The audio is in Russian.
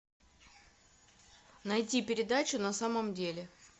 найти передачу на самом деле